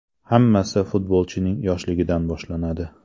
Hammasi futbolchining yoshligidan boshlanadi.